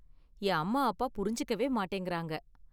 என் அம்மா அப்பா புரிஞ்சுக்கவே மாட்டேங்குறாங்க.